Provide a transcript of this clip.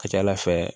Ka ca ala fɛ